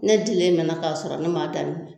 Ne dilen mɛna k'a sɔrɔ ne m'a daminɛ